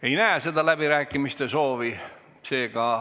Ei näe läbirääkimiste soovi.